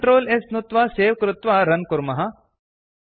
Ctrl S नुत्त्वा save कृत्वा run कुर्मः